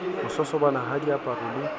ho sosobana ha diaparo le